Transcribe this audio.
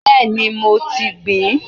Bẹ́ẹ̀ni, mo ti gbìn ín.